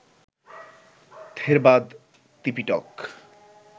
Theravada Tipitaka